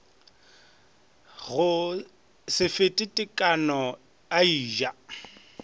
se fete tekano a eja